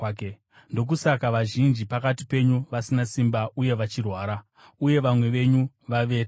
Ndokusaka vazhinji pakati penyu vasina simba uye vachirwara, uye vamwe venyu vavete.